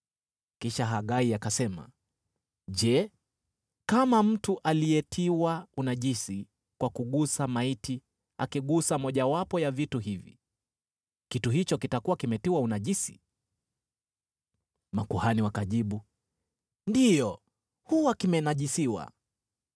Kisha Hagai akasema, “Je, kama mtu aliyetiwa unajisi kwa kugusa maiti akigusa mojawapo ya vitu hivi, kitu hicho kitakuwa kimetiwa unajisi?” Makuhani wakajibu, “Ndiyo, huwa kimenajisiwa.”